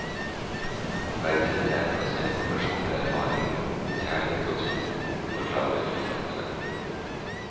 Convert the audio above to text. Verdiene er basert på personlig erfaring, kjærlighet og tvil, forklarer forfatteren.